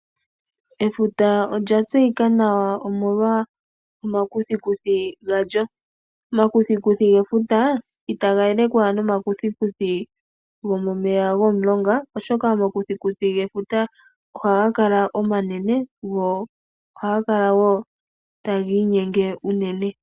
Efuta olya tseyika nawa omolwa omakuthikuthi galyo. Omakuthikuthi gefuta itaga elekwa nomakuthikuthi gomeya gomomulonga oshoka gefuta ohaga kala omanene go otaga inyenge shinene.